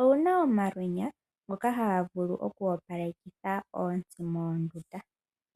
owuna omalwenyana ngoka haga vulu oku opalekitha oontsi moondundu.